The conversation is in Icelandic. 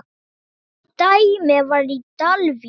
Hitt dæmið var í Dalvík.